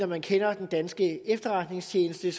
man kender den danske efterretningstjeneste